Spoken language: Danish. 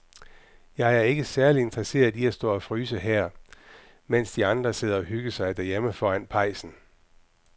Jeg er ikke særlig interesseret i at stå og fryse her, mens de andre sidder og hygger sig derhjemme foran pejsen.